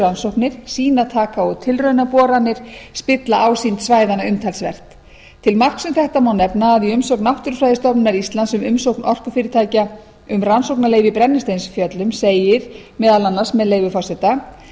rannsóknir sýnataka og tilraunaboranir spilla ásýnd svæðanna umtalsvert til marks um þetta má nefna að í umsögn náttúrufræðistofnunar íslands um umsókn orkufyrirtækja um rannsóknarleyfi í brennisteinsfjöllum segir meðal annars með leyfi forseta